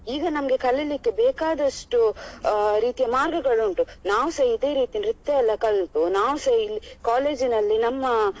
ಈಗ ನಮ್ಗೆ ಕಲೀಲಿಕೆ ಬೇಕಾದಷ್ಟು ಅಹ್ ರೀತಿಯ ಮಾರ್ಗಗಳು ಉಂಟು ನಾವುಸಾ ಇದೆ ರೀತಿ ನೃತ್ಯ ಎಲ್ಲ ಕಲ್ತು ನಾವುಸಾ ಇಲ್ಲಿ college ನಲ್ಲಿ ನಮ್ಮ.